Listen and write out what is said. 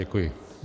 Děkuji.